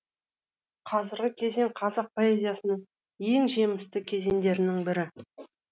қазіргі кезең қазақ поэзиясындағы ең жемісті кезеңдерінің бірі